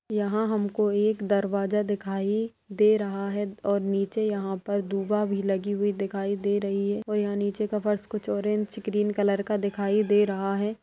यहाँ हमको एक दरवाजा दिखाई दे रहा है और नीचे यहाँ पर भी लगी हुई दे रही है और यहाँ नीचे का फर्श कुछ ऑरेंज कुछ ग्रीन कलर का दिखाई दे रहा है।